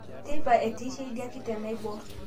Teipa etiishe idia kiteng nabuar